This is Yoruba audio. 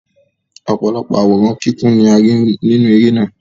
Ọ̀pọ̀lọpọ̀ àwòrán kíkún ni a rí nínú eré náà.